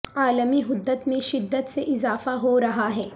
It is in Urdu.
عالمی حدت میں شدت سے اضافہ ہو رہا ہے